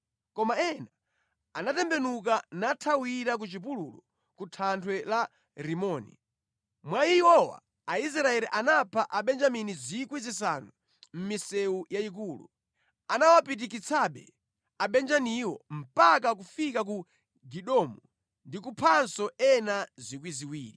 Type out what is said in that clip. Koma ena anatembenuka nathawira ku chipululu ku thanthwe la Rimoni. Mwa iwowa Aisraeli anapha Abenjamini 5,000 mʼmisewu yayikulu. Anawapitikitsabe Abenjaminiwo mpaka kufika ku Gidomu ndi kuphanso ena 2,000.